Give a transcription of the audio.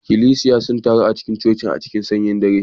Ikklesiya sun taru a cikin cocin a cikin sanyin dare